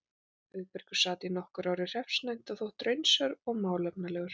Auðbergur sat nokkur ár í hreppsnefnd og þótti raunsær og málefnalegur.